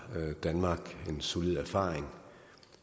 danmark en solid erfaring